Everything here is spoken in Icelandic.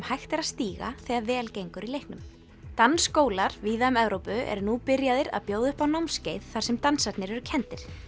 hægt er að stíga þegar vel gengur í leiknum dansskólar víða um Evrópu eru nú byrjaðir að bjóða upp á námskeið þar sem dansarnir eru kenndir